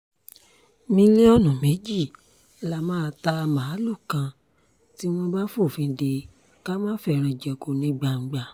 mílíọ̀nù méjì la máa ta màálùú kan tí wọ́n bá fòfin dè ká máa fẹ́ràn jẹko ní gbangba